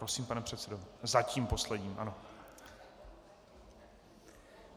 Prosím, pane předsedo - zatím posledním, ano.